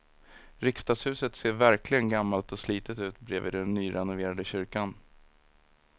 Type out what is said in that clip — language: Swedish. Riksdagshuset ser verkligen gammalt och slitet ut bredvid den nyrenoverade kyrkan.